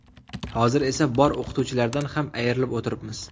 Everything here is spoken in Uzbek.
Hozir esa bor o‘qituvchilardan ham ayrilib o‘tiribmiz.